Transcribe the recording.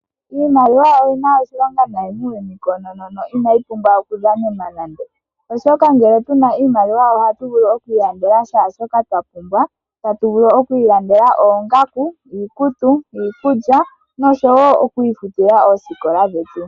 Iimaliwa oyina oshilonga nayi muuyuni koonono Oshoka ngele tuna iimaliwa ohatu vulu oku ilandela kehe shoka twapumbwa ngaashi oongaku ,iikutu ,iikulya noshowo oku ifutila oosikola dhetu.